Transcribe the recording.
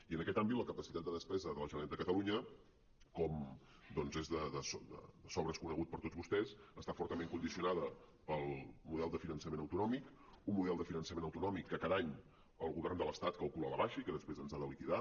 i en aquest àmbit la capacitat de despesa de la generalitat de catalunya com doncs és de sobres conegut per tots vostès està fortament condicionada pel model de finançament autonòmic un model de finançament autonòmic que cada any el govern de l’estat calcula a la baixa i que després ens ha de liquidar